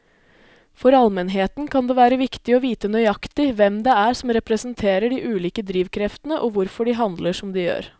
For allmennheten kan det være viktig å vite nøyaktig hvem det er som representerer de ulike drivkreftene og hvorfor de handler som de gjør.